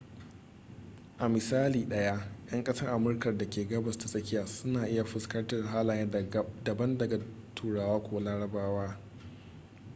a misali ɗaya 'yan ƙasar amurka da ke gabas ta tsakiya su na iya fuskantar halaye daban daga turawa ko larabawa